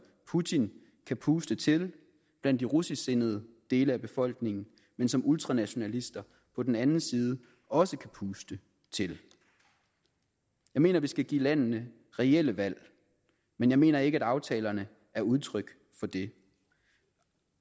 putin kan puste til blandt de russisksindede dele af befolkningen men som ultranationalister på den anden side også kan puste til jeg mener vi skal give landene reelle valg men jeg mener ikke at aftalerne er udtryk for det